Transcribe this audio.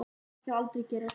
Það skal aldrei gerast.